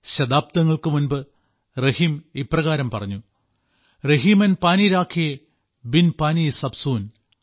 ശതാബ്ദങ്ങൾക്കുമുൻപ് റഹീം ഇപ്രകാരം പറഞ്ഞു രഹിമൻ പാനി രാഖിയേ ബിൻ പാനി സബ് സൂൻ